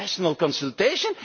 a national consultation